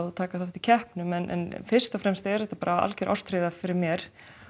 taka þátt í keppnum en fyrst og fremst og er þetta algjör ástríða fyrir mér